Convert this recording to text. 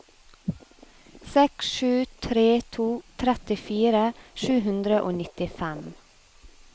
seks sju tre to trettifire sju hundre og nittifem